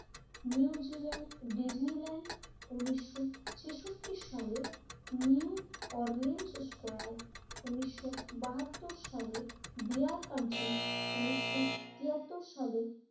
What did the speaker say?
New Zealand Disneyland উন্নিশশো ছেষট্টি সালে নিউ অরনিন স্কয়ার উন্নিশশো বাহাত্তর সালে বিয়ার কান্ট্রি উন্নিশশো তিয়াত্তর সালে